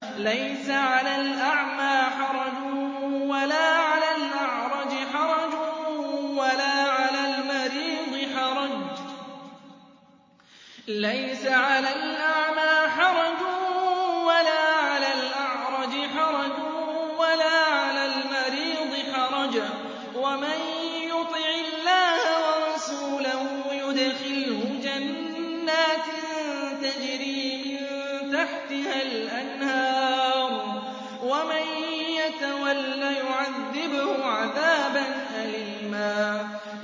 لَّيْسَ عَلَى الْأَعْمَىٰ حَرَجٌ وَلَا عَلَى الْأَعْرَجِ حَرَجٌ وَلَا عَلَى الْمَرِيضِ حَرَجٌ ۗ وَمَن يُطِعِ اللَّهَ وَرَسُولَهُ يُدْخِلْهُ جَنَّاتٍ تَجْرِي مِن تَحْتِهَا الْأَنْهَارُ ۖ وَمَن يَتَوَلَّ يُعَذِّبْهُ عَذَابًا أَلِيمًا